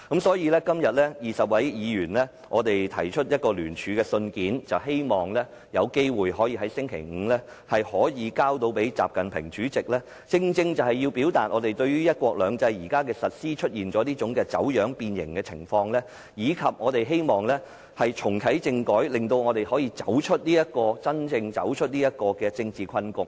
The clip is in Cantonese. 所以，今天20位議員聯署信件，希望在星期五可以交給國家主席習近平，以表達我們認為"一國兩制"現時的實施出現走樣、變形，以及希望重啟政改，令香港可以真正走出政治困局。